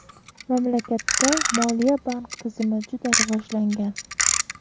Mamlakatda moliya-bank tizimi juda rivojlangan.